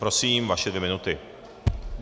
Prosím, vaše dvě minuty.